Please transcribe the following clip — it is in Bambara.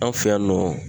An fɛ yan nɔ